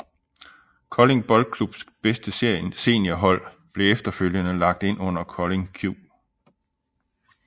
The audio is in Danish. Kolding Boldklubs bedste seniorhold blev efterfølgende lagt ind under KoldingQ